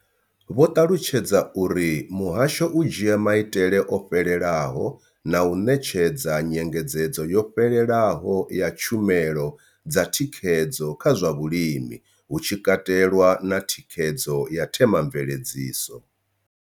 Vho ṱalutshedza uri muhasho u dzhia maitele o fhelelaho na u ṋetshedza nyengedzedzo yo fhelelaho ya tshumelo dza thikhedzo kha zwa vhulimi, hu tshi katelwa na thikhedzo ya themamveledziso.